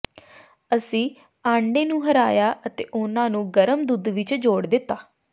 ਅਸੀਂ ਆਂਡੇ ਨੂੰ ਹਰਾਇਆ ਅਤੇ ਉਨ੍ਹਾਂ ਨੂੰ ਗਰਮ ਦੁੱਧ ਵਿਚ ਜੋੜ ਦਿੱਤਾ